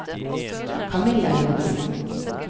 Kamilla Johnsen